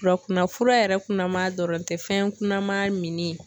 Fura kunna fura yɛrɛ kunnama dɔrɔn tɛ fɛn kunnama minni.